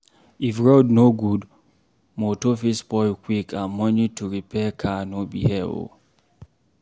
If road no good, motor fit spoil quick and money to repair car no be here oo.